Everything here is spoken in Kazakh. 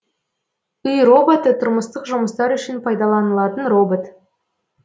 үй роботы тұрмыстық жұмыстар үшін пайдаланылатын робот